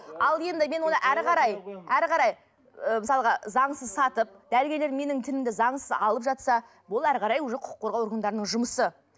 ал енді мен оны әрі қарай әрі қарай ы мысалға заңсыз сатып дәрігерлер менің тінімді заңсыз алып жатса бұл әрі қарай уже құқық қорғау органдарының жұмысы